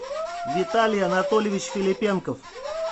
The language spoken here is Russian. виталий анатольевич филиппенков